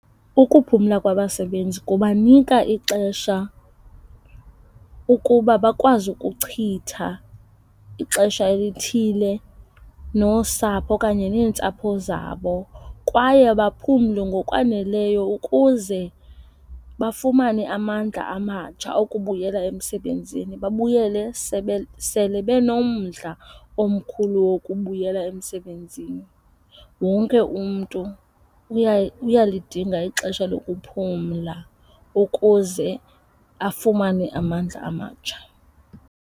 Ukuphumla kwabasebenzi kubanika ixesha ukuba bakwazi ukuchitha ixesha elithile nosapho okanye neentsapho zabo kwaye baphumle ngokwaneleyo ukuze bafumane amandla amatsha okubuyela emsebenzini, babuyele sele benomdla omkhulu wokubuyela emsebenzini. Wonke umntu uyalidinga ixesha lokuphumla ukuze afumane amandla amatsha.